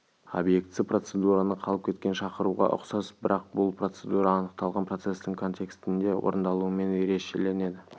объектісі процедураны қалып кеткен шақыруға ұқсас бірақ бұл процедура анықталған процестің контекстінде орындалуымен ерешеленеді